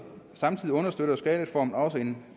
samtidig understøtter skattereformen også en